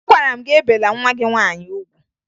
Agwara m gị ebela nwa gị nwaanyị ugwu!